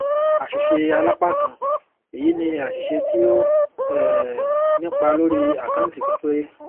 àṣìṣealápákan èyi ní àṣìṣe tí ó um nípa lórí àkáǹtì kan péré